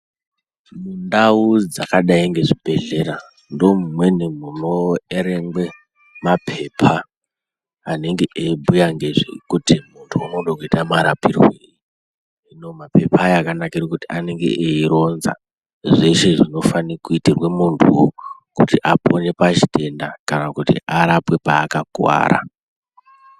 Mundau dzakadai nezvibhehlera ndomumweni munoerengwe mapepa anenge eyibhuya ngezvekuti muntu unode kuita marapirwei. Hino mapepa aya akanakire kuti anenge aironza zveshe zvinofanirwa kuitwa muntu kuti apone pachitenda kana kuti arapwe paakakuwara.